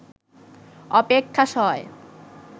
অপেক্ষা সয়